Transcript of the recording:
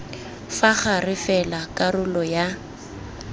fa gare fela karolo ya